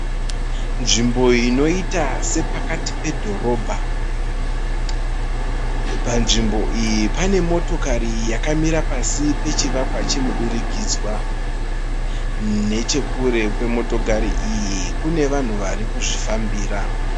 Nzvimbo inoita sepakati pedhorobha. Panzvimbo iyi pane motokari yakamira pasi pechivakwa chemudurikidzwa. Nechekure kwemotokari iyi kune vanhu varikuzvifambira.